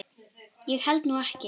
Ég held nú ekki!